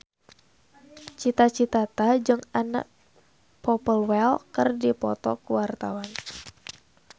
Cita Citata jeung Anna Popplewell keur dipoto ku wartawan